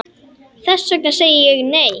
Þess vegna segi ég, nei!